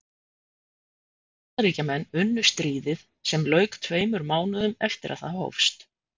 Bandaríkjamenn unnu stríðið sem lauk tveimur mánuðum eftir að það hófst.